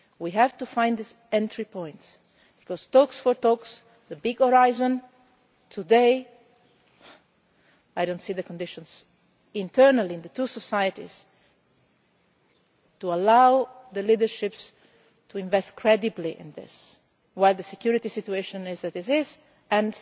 people. We have to find this entry point because in respect of talks, the big horizon today, I do not see the conditions internally in the two societies to allow the leaderships to invest credibly in this at a time when the security situation as